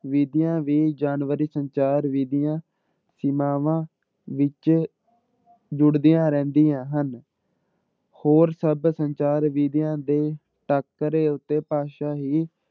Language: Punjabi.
ਵਿੱਧੀਆਂ ਵੀ ਜਾਨਵਰੀ ਸੰਚਾਰ ਵਿੱਧੀਆਂ ਸੀਮਾਵਾਂ ਵਿੱਚ ਜੁੜਦੀਆਂ ਰਹਿੰਦੀਆਂ ਹਨ ਹੋਰ ਸਭ ਸੰਚਾਰ ਵਿੱਧੀਆਂ ਦੇ ਟਾਕਰੇ ਉੱਤੇ ਭਾਸ਼ਾ ਹੀ